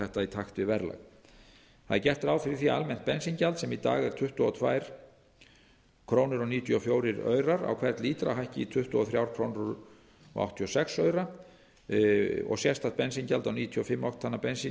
þetta í takt við verðlag það er gert ráð fyrir því að almennt bensíngjald sem í dag er tuttugu og tvö komma níutíu og fjórar krónur á hvern lítra hækki í tuttugu og þrjú komma áttatíu og sex krónur og sérstakt bensíngjald á níutíu og fimm oktana bensín